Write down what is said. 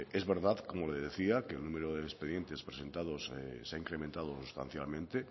es verdad como le decía que el número de expedientes presentados se ha incrementado sustancialmente